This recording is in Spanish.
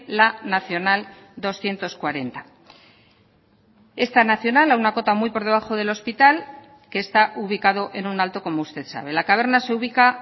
la nacional doscientos cuarenta esta nacional a una cota muy por debajo del hospital que está ubicado en un alto como usted sabe la caverna se ubica